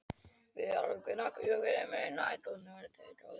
Viðar, hvenær kemur strætó númer tuttugu og þrjú?